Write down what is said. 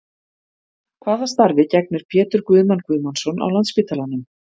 Hvaða starfi gegnir Pétur Guðmann Guðmannsson á Landspítalanum?